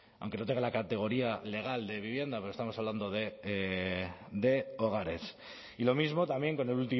aunque no tenga la categoría legal de vivienda pero estamos hablando de hogares y lo mismo también con el